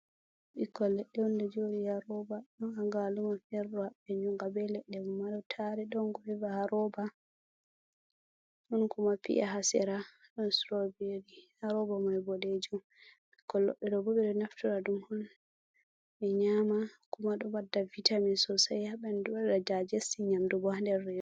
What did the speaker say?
Ikkolleu 0 yaroba don aga luma firra be jyunga be ledde mo madotare don gova haroba don kumapi’a hasira rharoba moibodejom iolloeoboeo naftura dum hon be nyama kumado madda vitami sosai haben duda jajei nyamdu bo ha derrs,